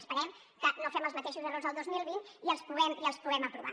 esperem que no fem els mateixos errors el dos mil vint i els puguem aprovar